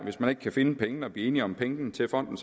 hvis man ikke kan finde pengene og blive enige om pengene til fonden